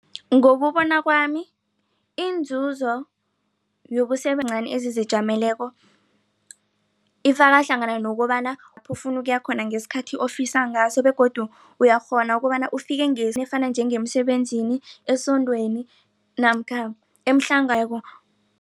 Ngokubona kwami inzuzo ezizijameleko ifakahlangana nokobana ufune ukuya khona ngesikhathi ofisa ngaso begodu uyakghona ukobana ufike njengemsebenzini esondweni namkha